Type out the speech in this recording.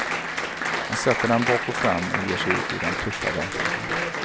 Han sätter den bak och fram och ger sig ut i den tuffa verkligheten.